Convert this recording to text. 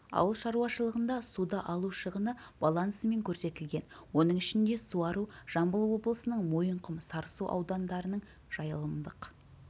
ауыл шаруашылығында суды алу шығыны балансымен көрсетілген оның ішінде суару жамбыл облысының мойынқұм сарысу аудандарының жайылымдық